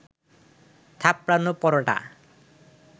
থাপড়ানো পরোটা